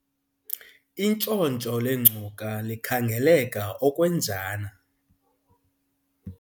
intshontsho lengcuka likhangeleka okwenjana